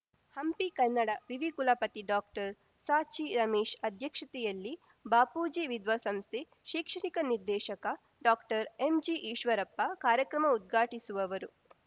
ಹಂಪಿ ಕನ್ನಡ ವಿವಿ ಕುಲಪತಿ ಡಾಕ್ಟರ್ಸಚಿರಮೇಶ್ ಅಧ್ಯಕ್ಷತೆಯಲ್ಲಿ ಬಾಪೂಜಿ ವಿದ್ವಸಂಸ್ಥೆ ಶೈಕ್ಷಣಿಕ ನಿರ್ದೇಶಕ ಡಾಕ್ಟರ್ಎಂಜಿಈಶ್ವರಪ್ಪ ಕಾರ್ಯಕ್ರಮ ಉದ್ಘಾಟಿಸುವವರು